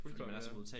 Fuldkommen ja